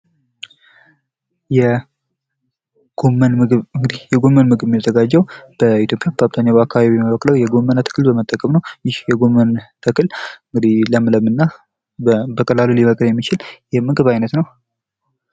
የጎመን ምግብ፦ እንግዲህ የጎመን ምግብ የሚዘጋጀው በኢትዮጵያ በገጠሩ አካባቢ ከሚበቅለው የጎመን ጥቅል በመጠቀም ነው። ይህ የጎመን ጥቅል እንግዲህ ለምለም እና በቀላሉ ሊበቅል የሚችል የምግብ አይነት ነው።